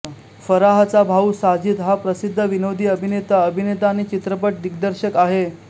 फराहचा भाऊ साजिद हा प्रसिद्ध विनोदी अभिनेता अभिनेता आणि चित्रपट दिग्दर्शक आहे